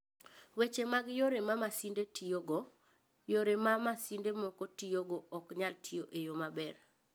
Weche mag Yore ma Masinde Tiyogo: Yore ma masinde moko tiyogo ok nyal tiyo e yo maber.